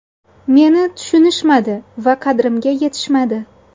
Meni tushunishmadi va qadrimga yetishmadi.